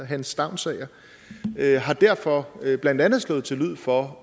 hans stavnsager har derfor blandt andet slået til lyd for